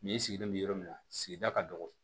Ni sigilen bɛ yɔrɔ min na sigida ka dɔgɔ